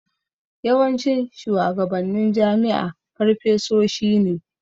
Yawancin shuwagabannin jami'a farfesoshi ne.